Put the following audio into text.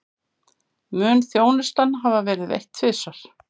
Mun þjónustan hafa verið veitt tvisvar